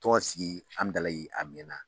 Tɔn sigi Hamdallayi a mɛn na.